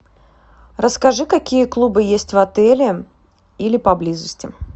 расскажи какие клубы есть в отеле или поблизости